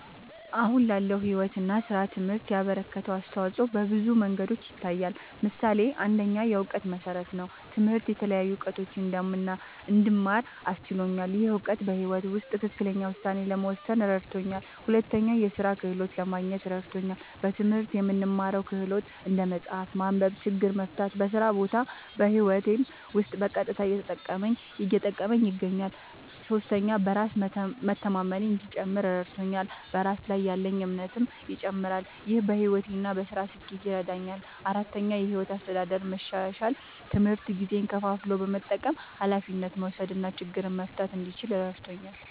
አሁን ላለው ሕይወት እና ሥራ ትምህርት ያበረከተው አስተዋጾ በብዙ መንገዶች ይታያል። ምሳሌ ፩, የእውቀት መሠረት ነዉ። ትምህርት የተለያዩ እዉቀቶችን እንድማር አስችሎኛል። ይህ እውቀት በሕይወት ውስጥ ትክክለኛ ውሳኔ ለመወሰን እረድቶኛል። ፪, የሥራ ክህሎት ለማግኘት እረድቶኛል። በትምህርት የምንማረው ክህሎት (እንደ መጻፍ፣ ማንበብ፣ ችግር መፍታ) በስራ ቦታም በህይወቴም ዉስጥ በቀጥታ እየጠቀመኝ ይገኛል። ፫. በራስ መተማመኔ እንዲጨምር እረድቶኛል። በራስ ላይ ያለኝ እምነትም ይጨምራል። ይህ በሕይወት እና በሥራ ስኬት ይረዳኛል። ፬,. የሕይወት አስተዳደር መሻሻል፦ ትምህርት ጊዜን ከፋፍሎ መጠቀም፣ ኃላፊነት መውሰድ እና ችግር መፍታት እንድችል እረድቶኛል።